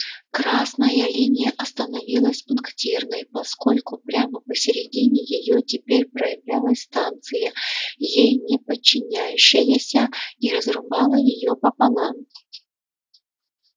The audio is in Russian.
красная линия остановилась пунктирной поскольку прямо посередине её теперь проявлялась станция ей не подчиняющаяся и разрубала её пополам